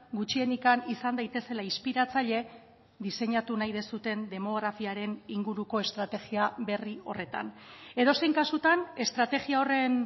gutxienik izan daitezela inspiratzaile diseinatu nahi duzuen demografiaren inguruko estrategia berri horretan edozein kasutan estrategia horren